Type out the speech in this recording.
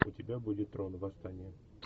у тебя будет трон восстание